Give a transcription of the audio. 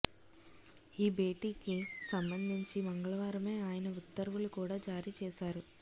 ఈ భేటీకి సంబంధించి మంగళవారమే ఆయన ఉత్తర్వులు కూడా జారీ చేశారు